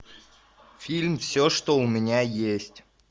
фильм все что у меня есть